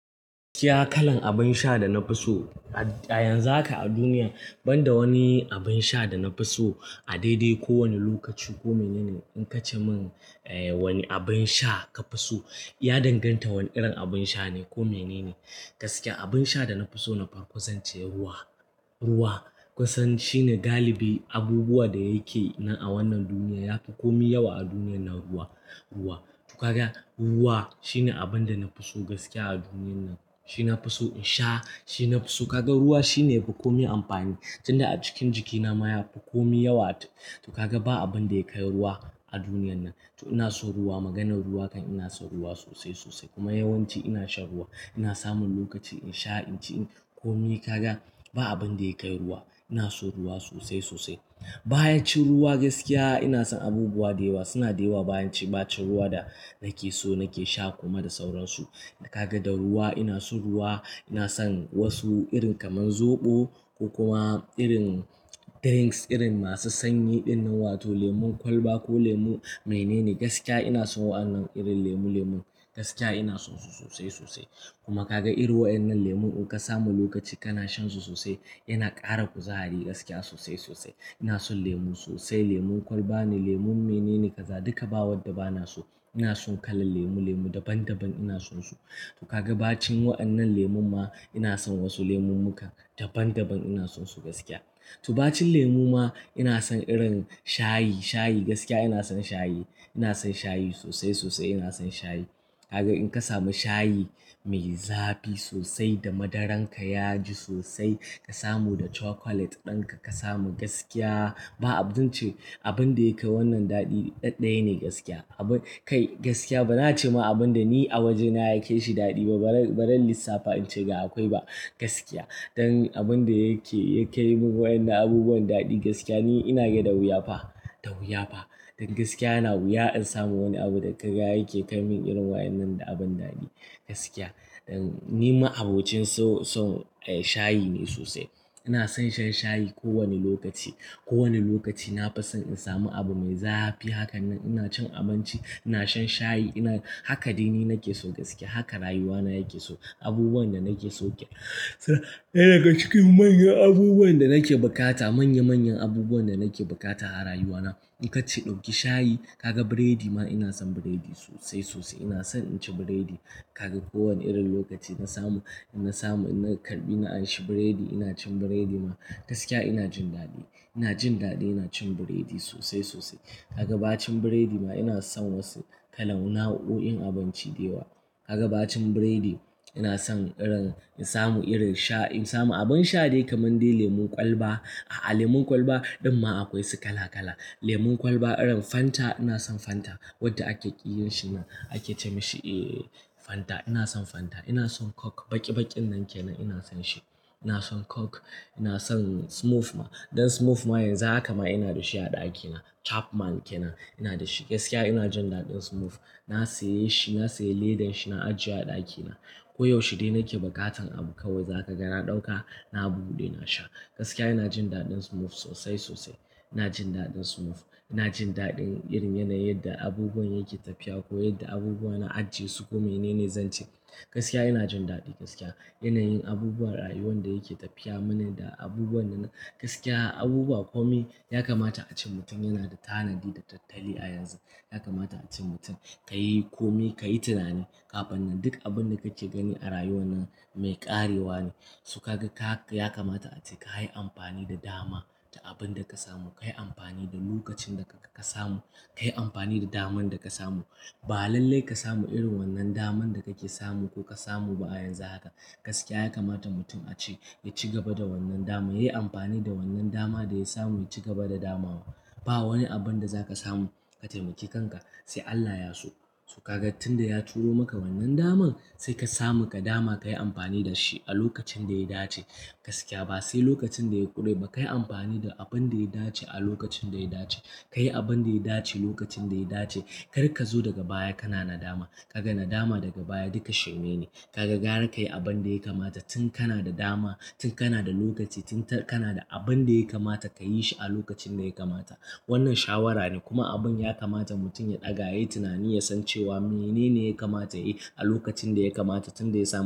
Gaskiya kalan abin sha da na fi so a yanzu haka a duniya, ban da wani abin sha da na fi so a daidai kowane lokaci ko mene ne in ka ce min wani abin sha ka fi so, ya danganta wane irin abin sha ne ko mene ne. Gaskiya abin sha da na fi so na farko zance ruwa. Ruwa kusan shine galibi abubuwan da yake nan a wannan duniya, ya fi komi yawa a duniyar nan ruwa. To kaga ruwa shine abin da na fi so gaskiya a duniyar nan. Shi na fi so in sha, shi na fi so. Kaga ruwa shine ya fi komi amfani, tun da a cikin jikina ma ya fi komi yawa. To kaga ba abin da ya kai ruwa a duniyar nan. To ina so ruwa, maganar ruwa kan ina son ruwa sosai sosai kuma yawanci ina shan ruwa. Ina samun lokaci in sha, in ci komai. Kaga ba abin da ya kai ruwa, ina so ruwa sosai sosai. Bacin ruwa gaskiya ina son abubuwa da yawa. Suna da yawa bayan ci bacin ruwa da nake so nake sha kuma da sauransu. Da kaga da ruwa ina son ruwa, ina son wasu irin kamar zoɓo ko kuma irin drinks irin masu sanyi irin na wato lemon kwalba ko lemon mene ne. Gaskiya ina son waɗannan irin lemu lemun. Gaskiya ina son su sosai sosai. Kuma kaga irin wa yan'nan lemon in ka samu lokaci kana shan su sosai, yana ƙara kuzari gaskiya sosai sosai. Ina son lemu sosai, lemon kwalba ne, lemon mene ne ka za, duka ba wadda ba na so. Ina son kalan lemu lemu daban daban ina son su. To kaga bacin wa'an'nan lemon ma ina son wasu lemon muka daban daban ina son su gaskiya. To bacin lemu ma ina son irin shayi shayi. Gaskiya ina son shayi, ina son shayi sosai sosai ina son shayi. Kaga in ka samu shayi mai zafi sosai da madaran ka yaji sosai, ka samu da chocolate ɗinka ka samu gaskiya ba abun ce, abin da yake wannan daɗi ɗad daya ne gaskiya. Abin kai gaskiya bana ce ma abin da ni a wajena yakai shi daɗi ba. Ba ran lissafa in ce ga akwai ba gaskiya. Dan abin da yake yakai min wa'yan'nan abubuwan daɗi gaskiya ni ina gada wuya fa, da wuya fa. Dan gaskiya yana wuya in samu wani abu da kaga yake kai min irin wa'yan'nan da abun daɗi gaskiya. Dan ni ma abocin son shayi ne sosai. Ina son shan shayi ko wane lokaci. Ko wanne lokaci na fi son in samu abu mai zafi. Haka nan ina cin abinci, ina shan shayi ina, haka dai ni nake so gaskiya. Haka rayuwana yake so. Abubuwan da nake so ke, suna daga cikin manyan abubuwan da nake bukata, manya manyan abubuwan da nake bukata a rayuwana. In ka ce ɗauki shayi, kaga biredi ma ina son biredi sosai sosai. Ina son inci biredi. Kaga ko wanne irin lokaci na samu, na samu ina karɓi ina anshi biredi ina cin biredi ma gaskiya ina jin daɗi. Ina jin daɗi ina cin biredi sosai sosai. Kaga bacin biredi ma ina son wasu kalauna huɗu yin abinci da yawa. Kaga bacin biredi ina son irin in samu irin sha in samu abin sha dai kamar dai lemon kwalba. A'a lemon kwalba ɗin ma akwai su kala kala. Lemon kwalba irin Fanta ina son Fanta wadda ake ƙiyin shi nan ake ce mashi eh Fanta. Ina son Fanta, ina son Coke baki bakin nan ke nan ina son shi. Ina son Coke, ina son Smooth ma. Don Smooth ma yanzu haka ma ina da shi a ɗakina. Chapman ke nan ina da shi. Gaskiya ina jin daɗin Smooth. Na saye shi, na saye ledan shi na ajiye a ɗakina. Ko yaushe dai nake bukatan abu kawai za ka ga na ɗauka na buɗe na sha. Gaskiya ina jin daɗin Smooth sosai sosai. Ina jin daɗin Smooth. Ina jin daɗin irin yanayin da abubuwan yake tafiya ko yadda abubuwa na ajiye su ko mene ne zan ci. Gaskiya ina jin daɗi gaskiya. Yanayin abubuwan rayuwan da yake tafiya mana da abubuwan da na gaskiya abubuwa komai ya kamata a ce mutum yana da tanadi da tattali a yanzu. Ya kamata a ce mutum ka yi komi, ka yi tunani kafin nan. Duk abin da kake gani a rayuwan nan mai ƙarewa ne. To kaga ta haka ya kamata a ce ka yi amfani da dama ta abin da ka samu. Ka yi amfani da lokacin da ka samu. Ka yi amfani da daman da ka samu. Ba lalle ka samu irin wannan daman da kake samu ko ka samu ba a yanzu haka. Gaskiya ya kamata mutum a ce ya ci gaba da wannan dama. Ya yi amfani da wannan dama da ya samu ya ci gaba da damawa. Ba wani abin da za ka samu ka taimaki kanka sai Allah ya so. So kaga tun da ya turo maka wannan daman sai ka samu ka dama ka yi amfani da shi a lokacin da ya dace. Gaskiya ba sai lokacin da ya ƙure ba, ka yi amfani da abin da ya dace a lokacin da ya dace. Ka yi abin da ya dace lokacin da ya dace. Kar ka zo daga baya kana na dama. Ka ga na dama daga baya duka shirme ne. Kaga ga har ka yi abin da ya kamata tun kana da dama, tun kana da lokaci, tun kana da abin da ya kamata ka yi shi a lokacin da ya kamata. Wannan shawara ne kuma abin ya kamata mutum ya ɗaga ya yi tunani ya san cewa mene ne ya kamata ya yi a lokacin da ya kamata tun da ya samu.